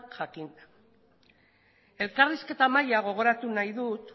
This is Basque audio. jakinda elkarrizketa mahaia gogoratu nahi dut